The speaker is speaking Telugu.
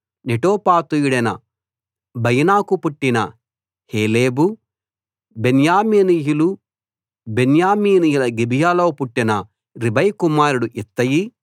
నెటోపాతీయుడైన బయనాకు పుట్టిన హేలెబు బెన్యామీనీయుల గిబియాలో పుట్టిన రీబై కుమారుడు ఇత్తయి